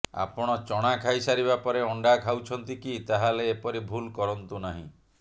ଆପଣ ଚଣା ଖାଇସାରବା ପରେ ଅଣ୍ଡା ଖାଉଛନ୍ତି କି ତାହେଲେ ଏପରି ଭୁଲ କରନ୍ତୁ ନାହିଁ